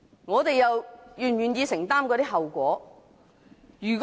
我們是否願意承擔這些後果？